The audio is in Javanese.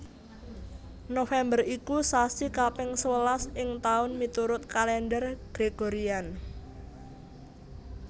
November iku sasi kaping sewelas ing taun miturut Kalendher Gregorian